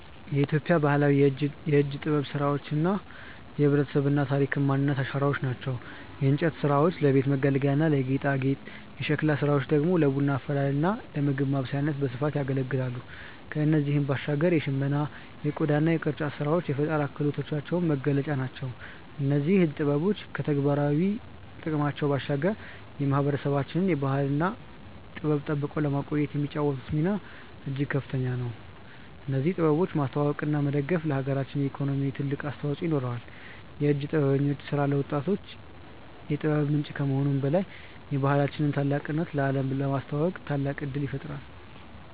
የኢትዮጵያ ባህላዊ የእጅ ጥበብ ስራዎች የህብረተሰባችን ታሪክና ማንነት አሻራዎች ናቸው። የእንጨት ስራዎች ለቤት መገልገያና ለጌጣጌጥ፣ የሸክላ ስራዎች ደግሞ ለቡና አፈላልና ለምግብ ማብሰያነት በስፋት ያገለግላሉ። ከእነዚህም ባሻገር የሽመና የቆዳና የቅርጫት ስራዎች የፈጠራ ክህሎታችን መገለጫዎች ናቸው። እነዚህ ጥበቦች ከተግባራዊ ጥቅማቸው ባሻገር የማህበረሰባችንን ባህልና ጥበብ ጠብቀው ለማቆየት የሚጫወቱት ሚና እጅግ ከፍተኛ ነው። እነዚህን ጥበቦች ማስተዋወቅና መደገፍ ለሀገራችን ኢኮኖሚ ትልቅ አስተዋጽኦ ይኖረዋል። የእጅ ጥበበኞች ስራ ለወጣቶች የጥበብ ምንጭ ከመሆኑም በላይ የባህላችንን ታላቅነት ለአለም ለማስተዋወቅ ታላቅ እድል ይፈጥራል።